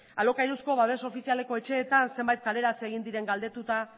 alokairuzko babes ofizialeko etxeetan zenbait kaleratze egin diren galdetuta